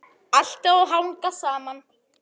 Allt á að hanga saman.